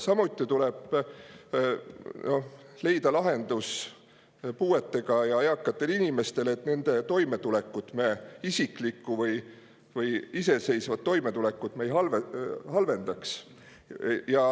Samuti tuleb leida lahendus puuetega ja eakatele inimestele, et me nende isiklikku või iseseisvat toimetulekut ei halvendaks.